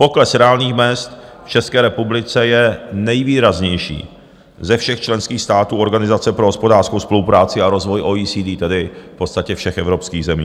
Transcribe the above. Pokles reálných mezd v České republice je nejvýraznější ze všech členských států Organizace pro hospodářskou spolupráci a rozvoj - OECD, tedy v podstatě všech evropských zemí.